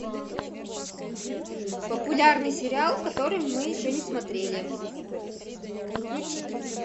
популярный сериал который мы еще не смотрели включить